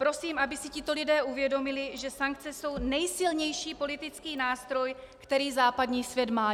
Prosím, aby si tito lidé uvědomili, že sankce jsou nejsilnější politický nástroj, který západní svět má.